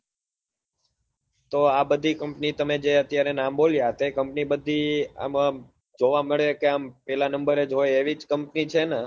તો આ બધી company તમે જે અત્યારે અમે બોલ્યા તે company બધી આમ આમ જોવા મળે કે આમ પેલા number હોય એવી જ company છે ને